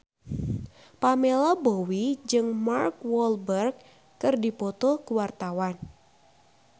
Pamela Bowie jeung Mark Walberg keur dipoto ku wartawan